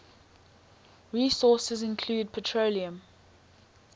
resources include petroleum